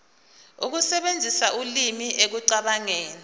ukusebenzisa ulimi ekucabangeni